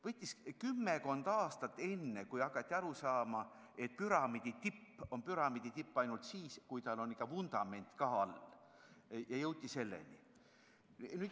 Võttis kümmekond aastat, enne kui hakati aru saama, et püramiidi tipp on püramiidi tipp ainult siis, kui tal on ikka vundament ka all.